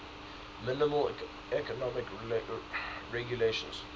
minimal economic regulations